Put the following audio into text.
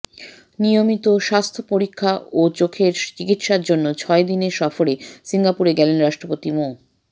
নিয়মিত স্বাস্থ্য পরীক্ষা ও চোখের চিকিৎসার জন্য ছয় দিনের সফরে সিঙ্গাপুরে গেলেন রাষ্ট্রপতি মো